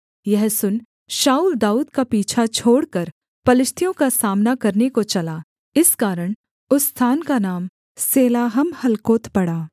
यह सुन शाऊल दाऊद का पीछा छोड़कर पलिश्तियों का सामना करने को चला इस कारण उस स्थान का नाम सेलाहम्महलकोत पड़ा